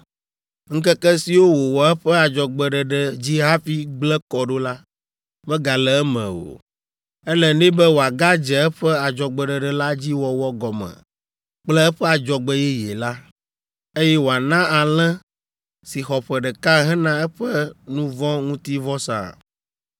Ŋkeke siwo wòwɔ eƒe adzɔgbeɖeɖe dzi hafi gblẽ kɔ ɖo la, megale eme o. Ele nɛ be wòagadze eƒe adzɔgbeɖeɖe la dzi wɔwɔ gɔme kple eƒe adzɔgbe yeye la, eye wòana alẽ si xɔ ƒe ɖeka hena eƒe nu vɔ̃ ŋuti vɔsa.